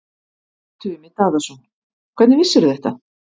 Kolbeinn Tumi Daðason: Hvernig vissirðu þetta?